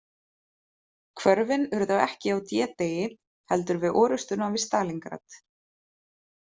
Hvörfin urðu ekki á D- degi heldur við orustuna við Stalíngrad.